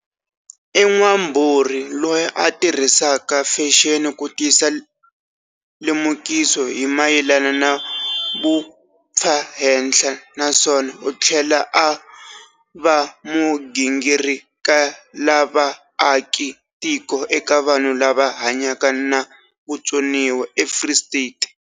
I n'wambhurhi loyi a tirhisaka fexeni ku tisa lemukiso hi mayelana na vumpfahenhla, naswona u tlhela a va mugingirikelavaaki tiko eka vanhu lava hanyaka na vutsoniwa eFree State.